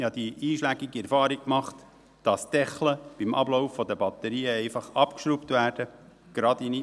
Ich habe die einschlägige Erfahrung gemacht, dass gerade in Mietwohnungen abgelaufene Batterien einfach entfernt werden.